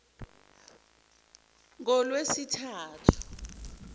ngolwesithathu